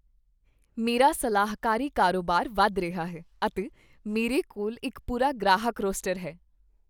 ਮੇਰਾ ਸਲਾਹਕਾਰੀ ਕਾਰੋਬਾਰ ਵਧ ਰਿਹਾ ਹੈ, ਅਤੇ ਮੇਰੇ ਕੋਲ ਇੱਕ ਪੂਰਾ ਗ੍ਰਾਹਕ ਰੋਸਟਰ ਹੈ।